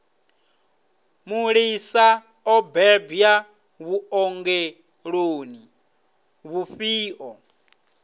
mulisa o bebwa vhuongeloni vhufhio